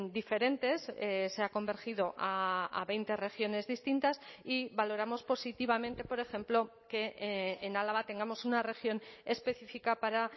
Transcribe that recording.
diferentes se ha convergido a veinte regiones distintas y valoramos positivamente por ejemplo que en álava tengamos una región específica para